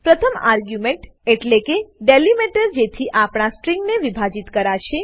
પ્રથમ આર્ગ્યુમેન્ટ એટલેકે ડીલીમીટર જેથી આપણા સ્ટ્રીંગને વિભાજિત કરાશે